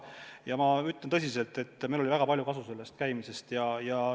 Ja ma ütlen tõsiselt, et meil oli väga palju kasu sellest käimisest.